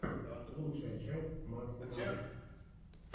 лучшая часть максимайс